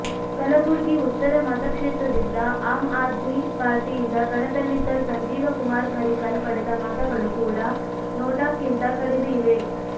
ಕಲಬುರ್ಗಿ ಉತ್ತರ ಮತಕ್ಷೇತ್ರದಿಂದ ಆಮ್ ಆದ್ಮಿ ಪಾರ್ಟಿಯಿಂದ ಕಣದಲ್ಲಿದ್ದ ಸಂಜೀವಕುಮಾರ ಕರಿಕಲ್ ಪಡೆದ ಮತಗಳು ಕೂಡ ನೋಟಾಕ್ಕಿಂತ ಕಡಿಮೆ ಇವೆ